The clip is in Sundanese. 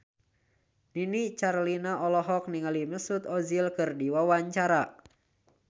Nini Carlina olohok ningali Mesut Ozil keur diwawancara